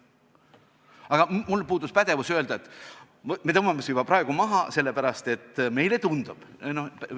Aga mul puudus pädevus öelda, et me tõmbame su juba praegu maha, sest meile tundub, et kusagil midagi on.